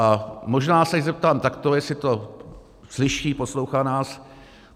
A možná se jí zeptám takto, jestli to slyší, poslouchá nás.